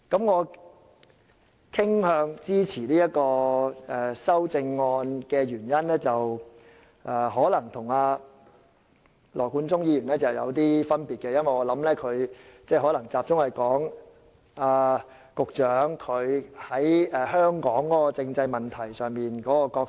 我傾向支持這項修正案的原因可能與羅冠聰議員有些不同，我相信他的着眼點可能集中於局長在香港政制問題上擔當的角色。